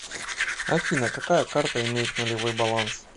афина какая карта имеет нулевой баланс